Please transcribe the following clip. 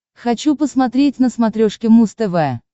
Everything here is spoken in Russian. хочу посмотреть на смотрешке муз тв